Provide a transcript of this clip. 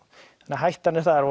hættan er þar